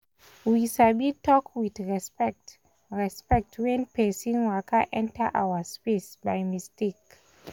we sabi talk with respect respect when person waka enter our space by mistake.